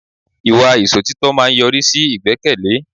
Ìwà Ìsòtítọ́ máa ń yọrí sí ìgbẹ́kẹ̀lé